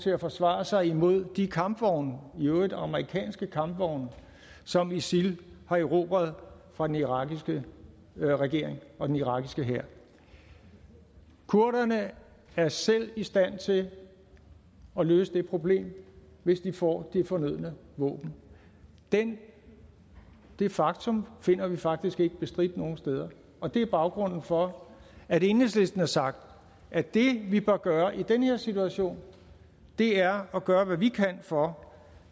til at forsvare sig med mod de kampvogne i øvrigt amerikanske kampvogne som isil har erobret fra den irakiske regering og den irakiske hær kurderne er selv i stand til at løse det problem hvis de får de fornødne våben det det faktum finder vi faktisk ikke bestridt nogle steder og det er baggrunden for at enhedslisten har sagt at det vi bør gøre i den her situation er at gøre hvad vi kan for